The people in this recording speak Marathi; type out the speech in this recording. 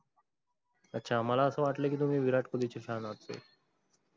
अच्छा मला अस वाटल कि, तुम्ही विराट कोहलीच fan होते.